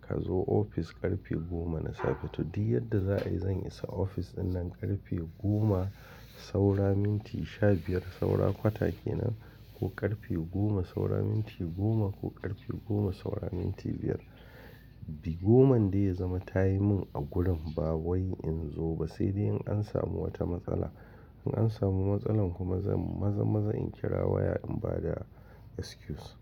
Ka zo ofis ƙarfe goma na safe. To, duk yadda za a yi, zan isa ofis ɗinnan ƙarfe goma saura minti sha biyar, saura kwata kenan ko ƙarfe goma saura minti goma ko ƙarfe goma saura minti biyar. Goman dai ya zama ta yi min agurin ba wai in zo ba, sai dai in an samu wata matsala. In an samu matsala kuma, maza-maza in kira waya in ba da excuse.